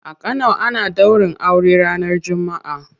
A kano ana daurin aure ranar jumma'a.